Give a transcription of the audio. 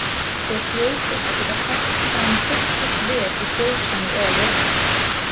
Þér hljótið að geta fært fram fullgilt veð í fjósinu eða jörðinni.